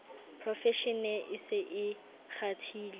profeshene e se e kgathile